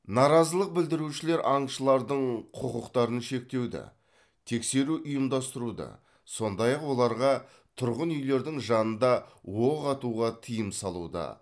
наразылық білдірушілер аңшылардың құқықтарын шектеуді тексеру ұйымдастыруды сондай ақ оларға тұрғын үйлердің жанында оқ атуға тыйым салуды